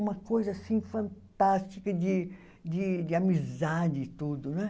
Uma coisa assim fantástica de de de amizade e tudo, não é?